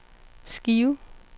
skive